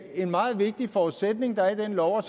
en meget vigtig forudsætning der er i den lov og